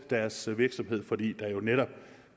deres virksomhed fordi der jo netop